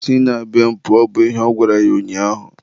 si na be m pụọ! bụ ihe ọ gwara ya ụnyaahụ.